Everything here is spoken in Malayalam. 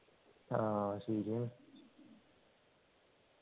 ആഹ് ശരിയാണ്